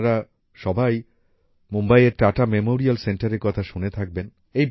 আপনারা সবাই মুম্বাইয়ের টাটা মেমোরিয়াল সেন্টারের কথা শুনে থাকবেন